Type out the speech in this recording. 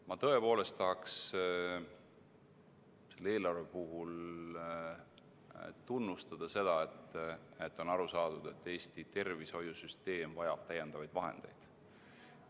Ma tõepoolest tahaks selle eelarve puhul tunnustada seda, et on aru saadud, et Eesti tervishoiusüsteem vajab lisavahendeid.